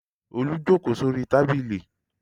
Olú jókòó sórí tábìlì.